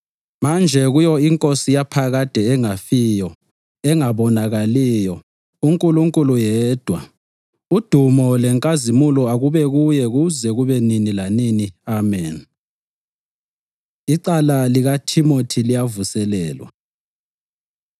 Manje kuyo iNkosi yaphakade engafiyo, engabonakaliyo, uNkulunkulu yedwa, udumo lenkazimulo akube kuye kuze kube nini lanini. Ameni. Icala LikaThimothi Liyavuselelwa